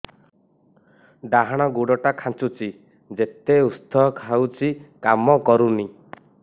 ଡାହାଣ ଗୁଡ଼ ଟା ଖାନ୍ଚୁଚି ଯେତେ ଉଷ୍ଧ ଖାଉଛି କାମ କରୁନି